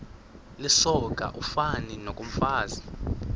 lisoka ufani nokomfazi